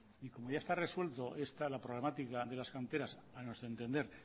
y como ya está resuelto esta problemática de las canteras a nuestro entender